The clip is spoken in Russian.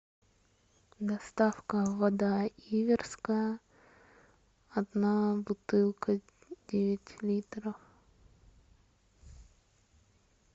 доставка вода иверская одна бутылка девять литров